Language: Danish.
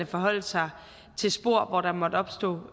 forholde sig til spor hvor der måtte opstå